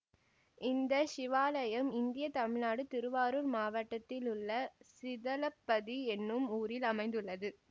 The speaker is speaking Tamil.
இந்த சிவாலயம் இந்தியா தமிழ்நாடு திருவாரூர் மாவட்டத்திலுள்ள சிதலப்பதி எனும் ஊரில் அமைந்துள்ளது